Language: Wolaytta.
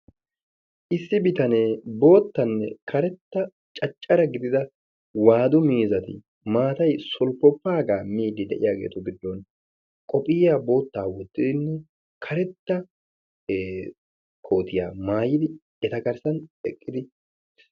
issi bitanee bootanne karetta gididda wadu miizati maatay sulpipaagan miidi diyaga giddon karetta kootiya maayidi eta garsan eqqidi